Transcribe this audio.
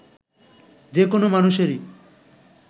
যে কোনো মানুষেরই